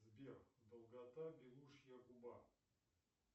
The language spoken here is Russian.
сбер долгота белушья губа